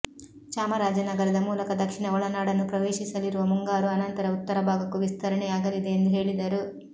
ಚಾಮರಾಜನಗರದ ಮೂಲಕ ದಕ್ಷಿಣ ಒಳನಾಡನ್ನು ಪ್ರವೇಶಿಸಲಿರುವ ಮುಂಗಾರು ಆನಂತರ ಉತ್ತರ ಭಾಗಕ್ಕೂ ವಿಸ್ತರಣೆಯಾಗಲಿದೆ ಎಂದು ಹೇಳಿದರು